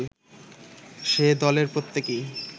সে-দলের প্রত্যেকেই